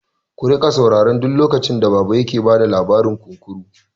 Ku riƙa saurara duk lokacin da baba yake bada labarin kunkuru!